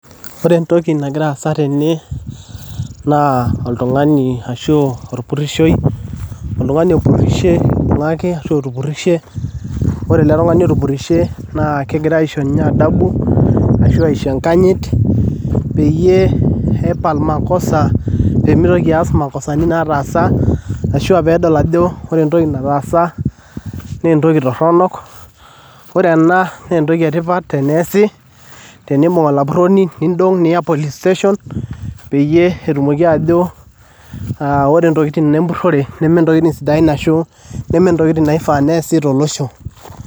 Ore entoki nagira aasa tene naa oltungani ashu olpurushoi, oltungani otupurushe oibung'aki otupurushe, ore ilo tungani otupyryshe naa kegirai aisho ninye adabu ashu aisho enkanyit peyie epal makosa pemeitoki aasa makosatin nataasa ashu peedol ajo ore entoki nataasa nee entoki toronok, ore ena naa entoki etipat teneasi, teniimbung' olapuroni niindong' niya police station peyie etumoki ajoo ore intokitin empurore nemee ntokitin sidain ashu nemee ntokitin naifaa neasi to losho.